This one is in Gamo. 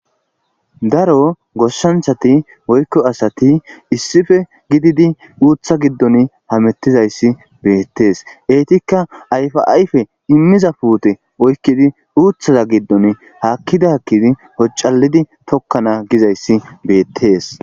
Daro goshanchati woykko asati issippe gididi uutha giddoni hametizayssi beetees eetika ayfa ayfe imiiza puute oykkidi uuthaza giddoni haakidi haakidi hocaalidi tokkana gizayssi beetees.